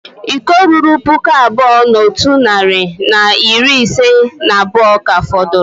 Iko ruru puku abụọ na otu narị na iri ise na abụọ ka fọdụrụ